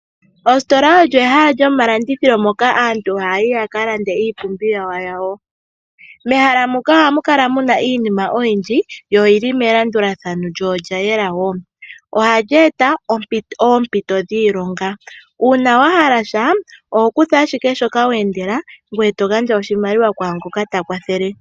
Ositola olyo ehala lyomalandithilo moka aantu haya yi yaka lande iipumbiwa yawo. Mehala muka ohamu kala muna iinima oyindji, yo oyili melandulathano , lyo olya yela wo. Ohali e ta oompito dhiilonga. Uuna wa hala sha, oho kutha ashike shoka we endela ngoye to gandja oshimaliwa kwaangoka ta kwathele.